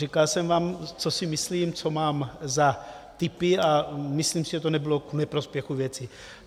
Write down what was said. Říkal jsem vám, co si myslím, co mám za tipy, a myslím si, že to nebylo k neprospěchu věci.